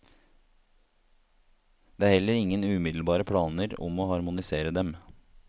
Det er heller ingen umiddelbare planer om å harmonisere dem.